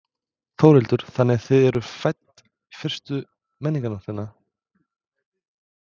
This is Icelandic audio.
Þórhildur: Þannig þið eru fædd fyrstu Menningarnóttina?